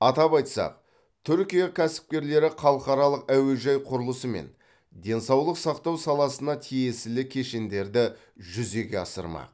атап айтсақ түркия кәсіпкерлері халықаралық әуежай құрылысы мен денсаулық сақтау саласына тиесілі кешендерді жүзеге асырмақ